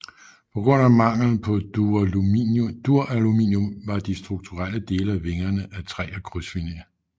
På grund af mangel på duraluminium var de strukturelle dele af vingerne af træ og krydsfiner